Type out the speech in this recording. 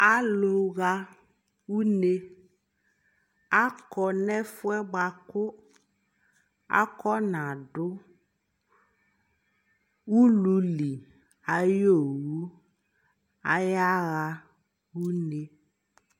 alʋ ha ʋnɛ, akɔ nʋ ɛƒʋɛ bakʋ akɔna dʋ ʋlʋli ayi ɔwʋ, ayaa unɛ